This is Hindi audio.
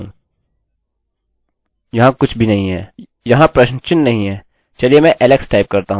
याद रखिये यदि आप अन्य फाइल पर काम कर रहे है तो आपको एक्शन बदलने की जरूरत है